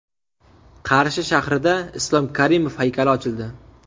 Qarshi shahrida Islom Karimov haykali ochildi.